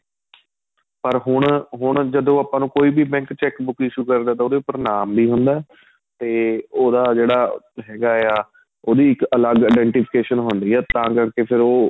ਪਰ ਹੁਣ ਹੁਣ ਜਦੋਂ ਆਪਾਂ ਨੂੰ ਕੋਈ ਵੀ bank cheque book issue ਕਰਦਾ ਤਾਂ ਉਹਦੇ ਉੱਪਰ ਨਾਮ ਵੀ ਹੁੰਦਾ ਏ ਤੇ ਉਹਦਾ ਜਿਹੜਾ ਹੈਗਾ ਆਂ ਉਹਦੀ ਇੱਕ ਅਲੱਗ identification ਹੁੰਦੀ ਏ ਤਾਂ ਕਰਕੇ ਫ਼ਿਰ ਉਹ